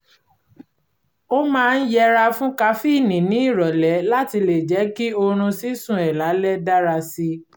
ó máa ń yẹra fún kafíìnì ní ìrọ̀lẹ́ láti lè jẹ́ kí oorun sísùn ẹ̀ lálẹ́ dára si